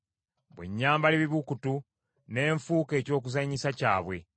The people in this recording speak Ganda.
Bwe nnyambala ebibukutu ne nfuuka eky’okuzanyisa kyabwe.